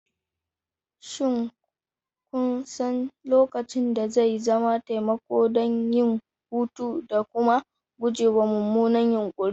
Shin kun san lokacin da zai zama taimako don yin hutu da kuma gujewa mummunan yunkuri?